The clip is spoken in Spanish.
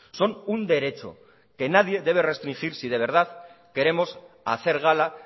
son un derecho que nadie debe restringir si de verdad queremos hacer gala